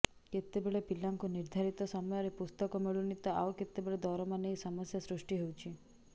କେତେବେଳେ ପିଲାଙ୍କୁ ନିର୍ଧାରିତ ସମୟରେ ପୁସ୍ତକ ମିଳୁନି ତ ଆଉ କେତେବେଳେ ଦରମା ନେଇ ସମସ୍ୟା ସୃଷ୍ଟି ହେଉଛି